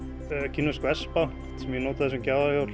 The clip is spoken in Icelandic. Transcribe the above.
kínversk vespa sem ég notaði sem